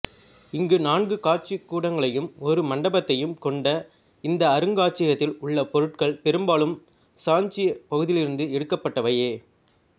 இங்கு நான்கு காட்சிக் கூடங்களையும் ஒரு மண்டபத்தையும் கொண்ட இந்த அருங்காட்சியகத்தில் உள்ள பொருட்கள் பெரும்பாலும் சாஞ்சிப் பகுதியிலிருந்து எடுக்கப்பட்டவையே